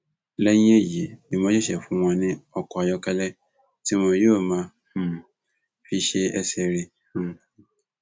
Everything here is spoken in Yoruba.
lẹyìn èyí ni wọn ṣẹṣẹ wáá fún wọn ní ọkọ ayọkẹlẹ tí wọn yóò máa um fi ṣe ẹsẹ rìn um